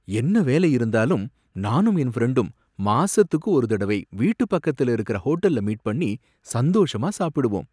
என்ன வேலை இருந்தாலும், நானும் என் ஃபிரண்டும் மாசத்துக்கு ஒரு தடவை வீட்டு பக்கத்துல இருக்கிற ஹோட்டல்ல மீட் பண்ணி சந்தோஷமா சாப்பிடுவோம்.